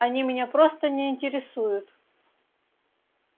они меня просто не интересуют